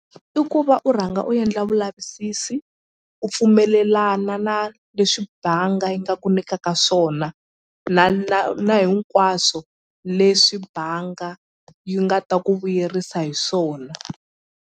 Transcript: I ku va u rhanga u endla vulavisisi u pfumelelana na leswi banga yi nga ku nikaka swona na na na hinkwaswo leswi banga yi nga ta ku vuyerisa hi swona.